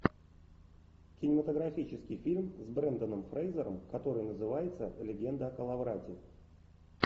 кинематографический фильм с бренданом фрейзером который называется легенда о коловрате